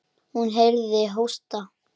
Hún heyrði hósta.